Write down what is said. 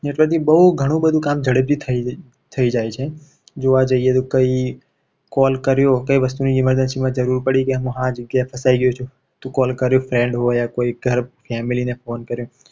Network થી બહુ ઘણું બધું કામ ઝડપથી થઈ રહ્યું થઈ જાય છે. જોવા જઈએ તો કંઈ call કર્યો કઈ વસ્તુ emergency માં જરૂર પડી કે આ જગ્યાએ ફસાઈ રહ્યો છું. તો call કરે કોઈ friend હોય યા કોઈ ઘર family ને phone કર્યો.